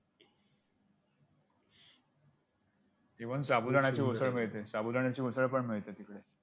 even साबुदाण्याची उसळ मिळते साबुदाण्याची उसळ मिळते तिकडं.